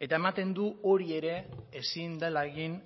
eta ematen du hori ere ezin dela egin